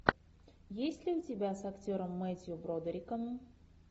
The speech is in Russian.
есть ли у тебя с актером мэттью бродериком